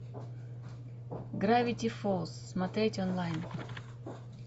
гравити фолз смотреть онлайн